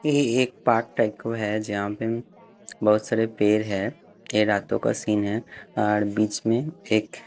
एएए एक part type का है जहाँ पे म्म बहुत सारे पेर है ये रातों का सीन है आड़ बीच में एक --